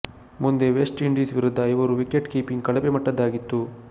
ಮುಂದೆ West Indies ವಿರುದ್ಧ ಇವರ ವಿಕೆಟ್ ಕೀಪಿಂಗ್ ಕಳಪೆ ಮಟ್ಟದ್ದಾಗಿತ್ತು